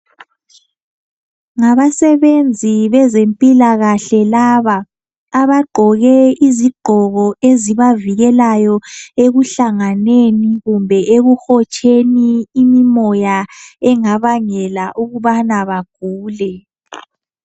Ngabasebenzi bezempilakahle laba abagqoke izigqoko ezibavikelayo ekuhlanganeni kumbe ekuhotsheni imimoya engabangela ukubana bagule.